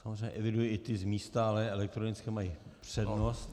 Samozřejmě eviduji i ty z místa, ale elektronické mají přednost.